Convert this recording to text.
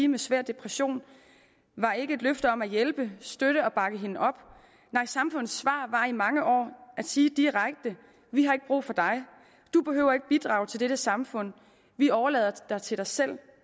med svær depression var ikke et løfte om at hjælpe støtte og bakke hende op nej samfundets svar var i mange år at sige direkte vi har ikke brug for dig du behøver ikke bidrage til dette samfund vi overlader dig til dig selv